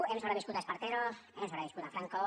hem sobreviscut a espartero hem sobreviscut a franco